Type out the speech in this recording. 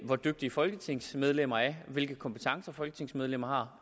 hvor dygtige folketingsmedlemmer er hvilke kompetencer folketingsmedlemmer har